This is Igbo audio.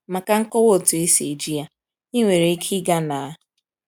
Maka nkọwa otu esi eji ya, ị nwere ike ịga na: